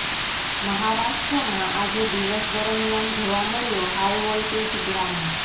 મહારાષ્ટ્રમાં આજે દિવસ દરમિયાન જોવા મળ્યો હાઇ વોલ્ટેજ ડ્રામા